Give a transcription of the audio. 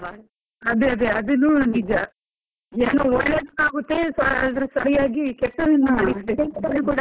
ಅದೆ ಅದೆ ಅದೆ ಅದುನು ನಿಜ, ಏನೋ ಒಳ್ಳೇದ್ ಆಗುತ್ತೆ ಸರಿಯಾಗಿ ಕೆಟ್ಟದ್ .